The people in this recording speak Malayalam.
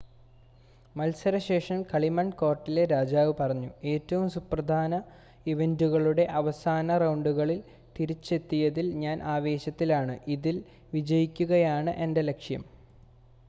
"മത്സര ശേഷം കളിമൺ കോർട്ടിലെ രാജാവ് പറഞ്ഞു "ഏറ്റവും സുപ്രധാന ഇവന്റുകളുടെ അവസാന റൗണ്ടുകളിൽ തിരിച്ചെത്തിയതിൽ ഞാൻ ആവേശത്തിലാണ്. ഇതിൽ വിജയിക്കുകയാണ് എന്റെ ലക്ഷ്യം.""